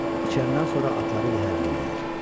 İçəndən sonra atları yəhərləyirlər.